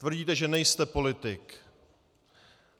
Tvrdíte, že nejste politik.